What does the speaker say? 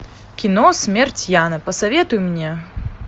кино смерть яна посоветуй мне